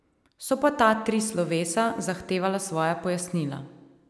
So pa ta tri slovesa zahtevala svoja pojasnila.